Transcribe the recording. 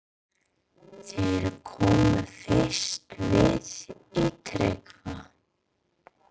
Þeir komu fyrst við í Tryggva